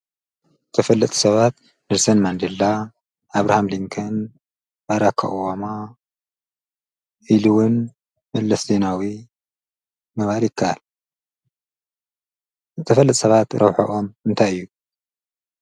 ተሰባ ንሰን መንሌላ ኣብርሃም ሊንክን ባራካኦዋማ ኢሉውን ጵለስቴናዊ ምባሪካል ተፈለት ሰባት ረውሐኦም እንተይ እዩ።